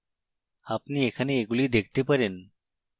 আপনি এখানে এগুলি দেখতে পারেন